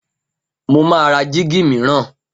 Mo máa ra jíígi mìíràn.